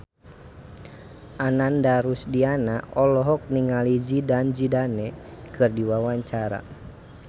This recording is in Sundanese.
Ananda Rusdiana olohok ningali Zidane Zidane keur diwawancara